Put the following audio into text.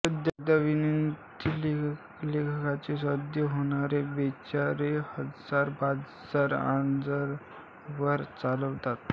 सध्या वित्तीय संलेखांचे सौदे होणारे बरेचसे हजर बाजार आंतरजालावर चालतात